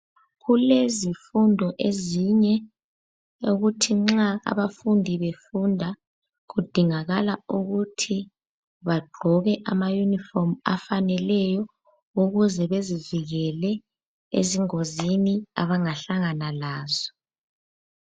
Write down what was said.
Kulezifundo ezinye okuthi nxa abafundi befunda kudingakala ukuthi bagqoke amayunifomu afaneleyo ukuze bezivikele ezingozini abangahlangana lazo.